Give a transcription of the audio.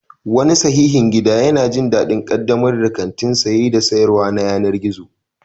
Wani fasihin gida yana jin daɗin ƙaddamar da kantin saye da sayarwa na yanar gizo.